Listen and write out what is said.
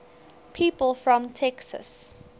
people from texas